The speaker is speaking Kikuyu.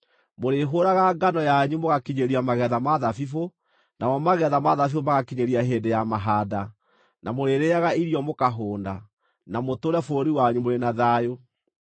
Mũrĩhũũraga ngano yanyu mũgakinyĩria magetha ma thabibũ, namo magetha ma thabibũ magakinyĩria hĩndĩ ya mahaanda, na mũrĩrĩĩaga irio mũkahũũna, na mũtũũre bũrũri wanyu mũrĩ na thayũ.